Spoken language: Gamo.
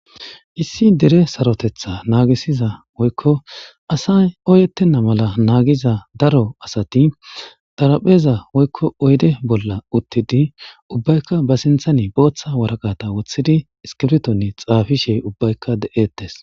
issi dere sarotetha naagisiza oykko asay oyettenna mala naagiza daro asati darapheza oykko oyde bolla uttidi ubbaykka ba sinthani booththa waraqata woththidi iskibton xaafishe ubbaykka de7ettes